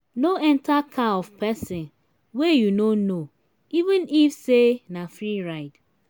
no enter car of pesin wey you no know even if say na free ride.